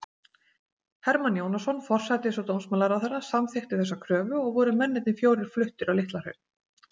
Hermann Jónasson, forsætis- og dómsmálaráðherra, samþykkti þessa kröfu, og voru mennirnir fjórir fluttir á Litlahraun.